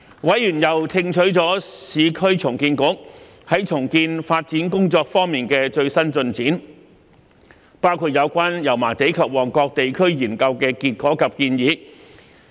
委員又聽取了市區重建局重建發展工作的最新進展，包括有關油麻地及旺角地區研究的結果及建議。